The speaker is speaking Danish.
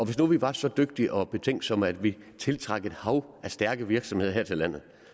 hvis nu vi var så dygtige og betænksomme at vi tiltrak et hav af stærke virksomheder her til landet